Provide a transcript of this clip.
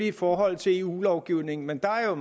i forhold til eu lovgivningen men der er